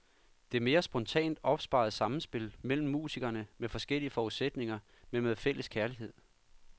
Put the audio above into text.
Det mere spontant opståede sammenspil mellem musikere med forskellige forudsætninger, men med fælles kærlighed.